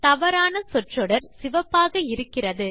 தவறான சொல் தொடர் சிவப்பாக இருக்கிறது